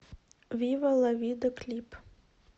вива ла вида клип